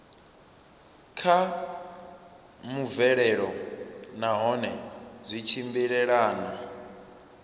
kha mvelelo nahone zwi tshimbilelana